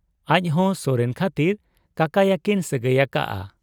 ᱟᱡᱦᱚᱸ ᱥᱚᱨᱮᱱ ᱠᱷᱟᱹᱛᱤᱨ ᱠᱟᱠᱟᱭᱟᱠᱤᱱ ᱥᱟᱹᱜᱟᱹᱭ ᱟᱠᱟᱜ ᱟ ᱾